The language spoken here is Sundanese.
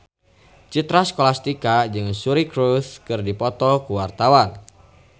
Citra Scholastika jeung Suri Cruise keur dipoto ku wartawan